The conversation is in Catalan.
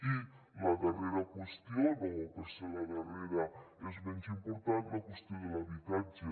i la darrera qüestió no perquè és la darrera és menys important la qüestió de l’habitatge